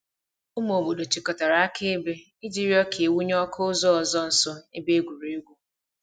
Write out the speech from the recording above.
Ụmụ obodo chịkọtara akaebe iji rịọ ka e wụnye ọkụ ụzọ ọzọ nso ebe egwuregwu.